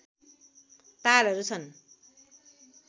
तालहरू छन्